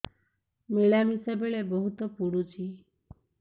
ମିଳାମିଶା ବେଳେ ବହୁତ ପୁଡୁଚି